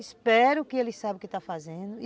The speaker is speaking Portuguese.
Espero que eles saibam o que estão fazendo.